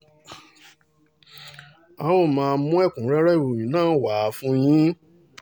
a ó a ó máa mú ẹ̀kúnrẹ́rẹ́ ìròyìn náà wá fún yín